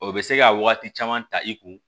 O bɛ se ka waati caman ta i kun